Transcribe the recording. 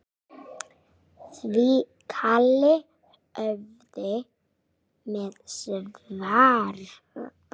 Því kalli höfum við svarað.